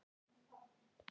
Hún lítur til hans.